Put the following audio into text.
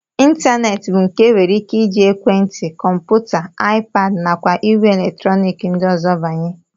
Ịntaneetị bụ nke e nwere ike iji ekwentị, kọmputa, iPad nakwa ìgwè eletrọnik ndị ọzọ banye